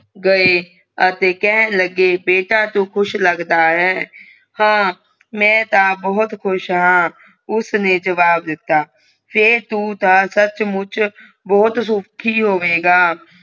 ਗਏ ਅਤੇ ਕਹਿਣ ਲੱਗੇ ਬੇਟਾ ਤੂੰ ਖੁਸ਼ ਲੱਗਦਾ ਹੈ ਹਾਂ ਮੈਂ ਤਾਂ ਬਹੁਤ ਖੁਸ਼ ਹਾਂ ਉਸਨੇ ਜਵਾਬ ਦਿੱਤਾ ਫੇਰ ਤੂੰ ਤਾਂ ਸੱਚ ਮੁਚ ਬਹੁਤ ਸੁਖੀ ਹੋਵੇਂਗਾ